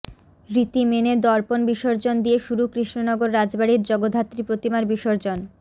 রীতি মেনে দর্পণ বিসর্জন দিয়ে শুরু কৃষ্ণনগর রাজবাড়ির জগদ্ধাত্রী প্রতিমার বিসর্জন